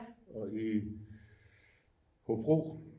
Og I Hobro